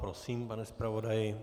Prosím, pane zpravodaji.